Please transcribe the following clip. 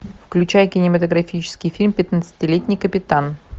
включай кинематографический фильм пятнадцатилетний капитан